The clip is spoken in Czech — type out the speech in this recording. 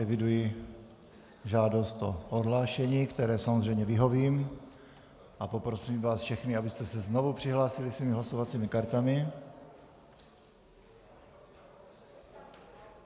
Eviduji žádost o odhlášení, které samozřejmě vyhovím, a poprosím vás všechny, abyste se znovu přihlásili svými hlasovacími kartami.